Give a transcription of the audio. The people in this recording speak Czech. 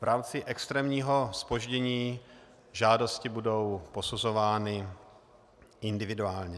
V rámci extrémního zpoždění žádosti budou posuzovány individuálně.